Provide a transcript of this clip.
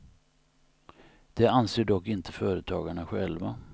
Det anser dock inte företagarna själva.